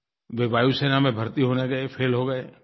वे वायुसेना में भर्ती होने गए फैल हो गए